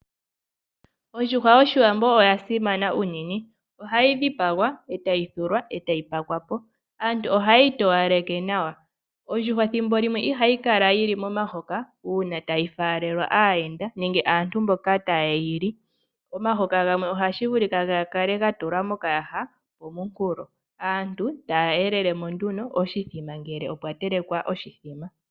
Ondjuhwa yOshiwambo ya simana unene. Ohayi dhipagwa etayi thulwa nokutelekwa, aantu ohaye yi towaleke nawa. Ondjuhwa ethimbo limwe ihayi kala yili momahoka, uuna tayi faalelwa aayenda, nenge aantu mboka tayeyi li. Omahoka gamwe ohashi vulika ya kale ya tulwa mokayaha pomunkulo yo aantu taya yangidha mo nduno, oshithima ngele okwa telekwa oshithima.